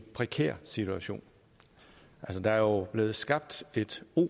prekær situation der er jo blevet skabt et